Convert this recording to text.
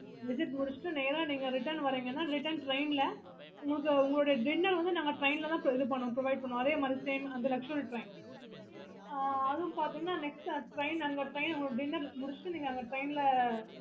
visit முடிச்சிட்டு நேரா நீங்க return வாறீங்கன்னா return train ல உங்களோட dinner வந்து நாங்க train ல தான் provide பண்ணுவோம் அதே மாதிரி அது luxury train ஆஹ் அதுவும் பாத்தீங்கன்னா dinner முடிச்சிட்டு நீங்க train ல